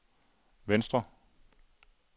venstre